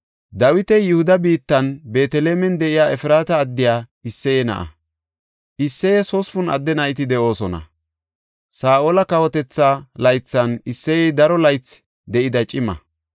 Dawiti Yihuda biittan Beetelemen de7iya Efraata addiya Isseye na7a. Isseyes hospun adde nayti de7oosona; Saa7ola kawotetha laythan Isseyey daro laythi de7ida cima.